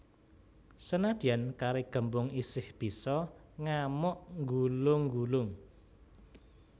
Senadyan kari gembung isih bisa ngamuk nggulung nggulung